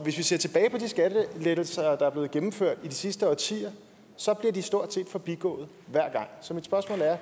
vi ser tilbage på de skattelettelser der er blevet gennemført i de sidste årtier så er de stort set blevet forbigået hver gang så mit spørgsmål er